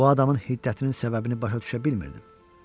Bu adamın hiddətinin səbəbini başa düşə bilmirdim.